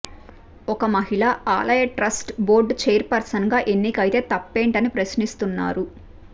ఒక మహిళ ఆలయ ట్రస్ట్ బోర్డు చైర్ పర్సన్గా ఎన్నికైతే తప్పేంటని ప్రశ్నిస్తున్నారు